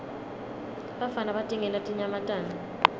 bafana batingela tinyamatane